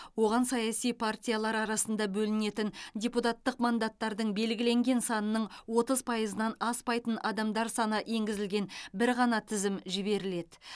оған саяси партиялар арасында бөлінетін депутаттық мандаттардың белгіленген санының отыз пайызынан аспайтын адамдар саны енгізілген бір ғана тізім жіберіледі